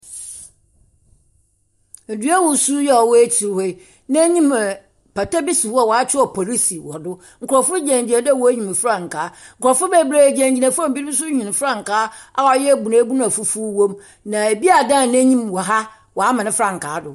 Edua wɔsuu yi ɔwɔ akyir hɔ yi, n'enyim pata bi si hɔ a wɔakyerɛw police wɔ do. Nkrɔfo gyinagyina dɛ wɔrehim frankaa. Nkrɔfo bebree gyinagyina fam rehim frankaa a ɔyɛ abunabun a fufuw wɔ mu. Na ebi adan n'enhyim wɔ ha. Ɔama ne frankaa do.